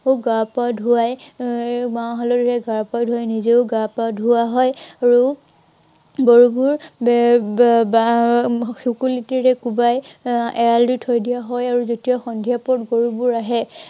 গা-পা ধোঁৱাই, আহ মাহ হাালধিৰে গা-পা ধোঁৱাই, নিজেও গা-পা ধাঁৱা হয়। আৰু গৰুবোৰ এৰ শুকলতিৰে কোৱাই এৰ এৰাঁল দি থৈ দিয়া হয় আৰু যেতিয়া সন্ধিয়া পৰত গৰুবোৰ আহে